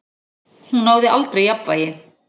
Hún náði aldrei jafnvægi.